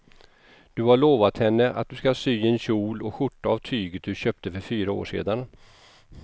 Du har lovat henne att du ska sy en kjol och skjorta av tyget du köpte för fyra år sedan.